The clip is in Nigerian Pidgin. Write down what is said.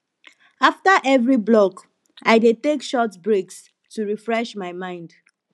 after every block i dey take short breaks to refresh my mind